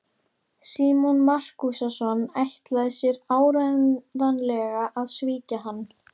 Símon Markússon ætlaði sér áreiðanlega að svíkja hann.